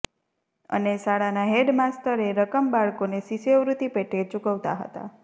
અને શાળાના head master એ રકમ બાળકોને શિષ્યવૃત્તિ પેટે ચુકવતા હતા